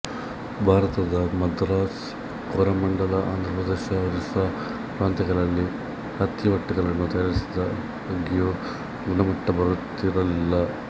ಭಾರತದ ಮದ್ರಾಸ್ ಕೋರಮಂಡಲ ಆಂಧ್ರಪ್ರದೇಶ ಒರಿಸ್ಸ ಪ್ರಾಂತ್ಯಗಳಲ್ಲಿ ಹತ್ತಿ ಬಟ್ಟೆಗಳನ್ನು ತಯಾರಿಸಿದಾಗ್ಯೂ ಗುಣಮಟ್ಟ ಬರುತ್ತಿರಲಿಲ್ಲ